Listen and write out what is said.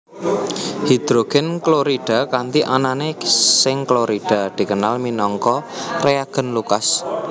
Hidrogen klorida kanthi anané seng klorida dikenal minangka reagen Lucas